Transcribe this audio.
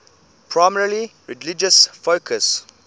primarily religious focus